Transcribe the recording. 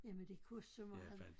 Jamen det kunne så meget